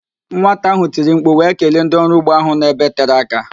Nwata ahụ tiri mkpu wee kelee ndị ọrụ ugbo ahụ nọ ebe tere aka